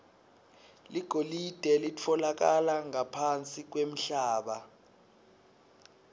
ligolide litfolakala ngaphansi kwemhlaba